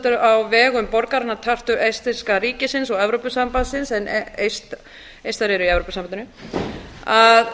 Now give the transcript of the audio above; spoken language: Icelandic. samstarf á vegum borgarinnar tartu eistneska ríkisins og evrópusambandsins en eistar eru í evrópusambandinu að